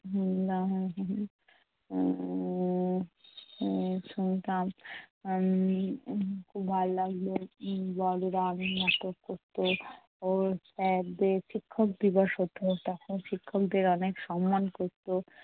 উম শুনতাম উম খুব ভাল লাগতো। বড়রা নাটক করতো। sir দের শিক্ষক দিবস হতো তখন শিক্ষকদের অনেক সম্মান করতো।